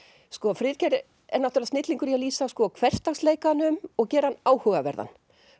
Friðgeir er snillingur í að lýsa hversdagsleikanum og gera hann áhugaverðan